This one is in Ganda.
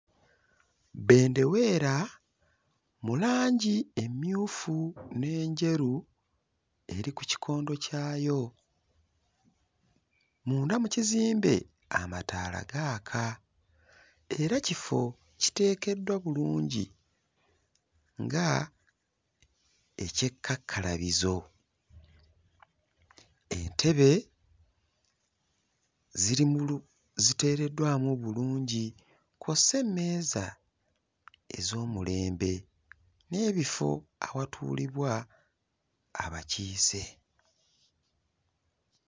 Bbendeweera mu langi emmyufu n'enjeru eri ku kikondo kyayo. Munda mu kizimbe amataala gaaka era kifo kiteekeddwa bulungi nga eky'ekkakkalabizo, entebe ziri mu lu ziteereddwamu bulungi kw'ossa emmeeza ez'omulembe n'ebifo awatuulibwa abakiise.